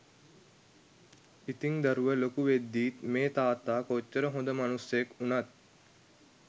ඉතිං දරුව ලොකු වෙද්දිත් මේ තාත්තා කොච්චර හොඳ මනුස්සයෙක් උනත්